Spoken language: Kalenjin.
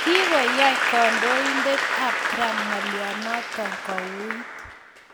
Kokoyai kandoinatet ab Trump ng'alyanoto kouit